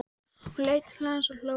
Hún leit til hans og hló.